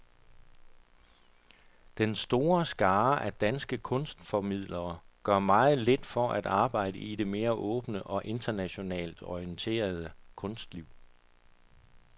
Den store skare af danske kunstformidlere gør meget lidt for at arbejde i det mere åbne og internationalt orienterede kunstliv.